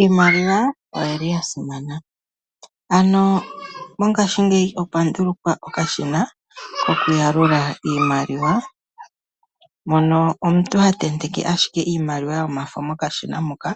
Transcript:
Iimaliwa oyili yasimana, ano mongashingeya okwa ndulukwa okashina koku yalula iimaliwa mono omuntu ha tenteke ashike iimaliwa yomafo mokashina moka